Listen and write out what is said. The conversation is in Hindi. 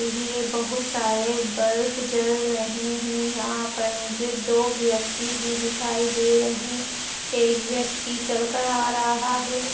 ये बहोत सारे बल्ब जल रहे है यहाँ पर मुझे दो व्यक्ति भी दिखाई दे रहे एक व्यक्ति चल कर आ रहा है।